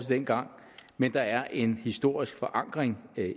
dengang men der er en historisk forankring